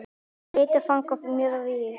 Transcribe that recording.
Ég leitaði fanga mjög víða.